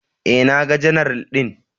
E, naga general ɗin.